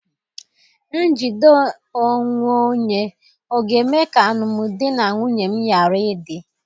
Njide onwe onye ọ̀ ga-eme ka alụmdi na nwunye m ghara ịdị?